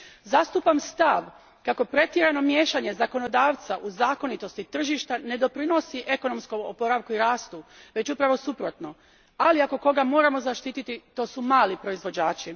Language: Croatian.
Zastupam stav kako pretjerano miješanje zakonodavca u zakonitosti tržišta ne doprinosi ekonomskom oporavku i rastu, već upravo suprotno, ali ako koga moramo zaštititi to su mali proizvođači.